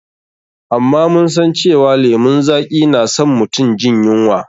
Amma mun san cewa lemun zaƙi na san mutum jin yunwa.